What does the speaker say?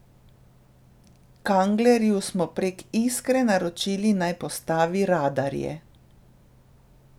Kanglerju smo prek Iskre naročili, naj postavi radarje.